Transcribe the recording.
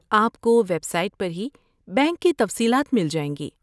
آپ کو website پر ہی بینک کی تفصیلات مل جائیں گی۔